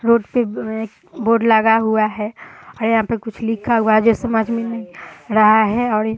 road पे एक board लगा हुआ है और यहाँ पे कुछ लिखा हुआ है जो समझ में नहीं आ रहा है और ये --